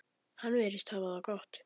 Hann virðist hafa það gott.